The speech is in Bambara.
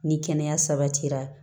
Ni kɛnɛya sabatira